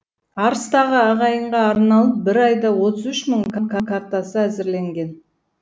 арыстағы ағайынға арналып бір айда отыз үш мың картасы әзірленген